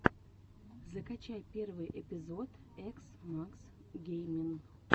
закачай первый эпизод экс мак геймин